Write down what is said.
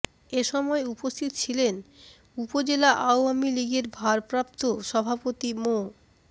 এ সময় উপস্থিত ছিলেন উপজেলা আওয়ামী লীগের ভারপ্রাপ্ত সভাপতি মো